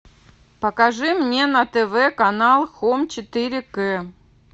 покажи мне на тв канал хоум четыре к